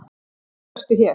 Loks ertu hér.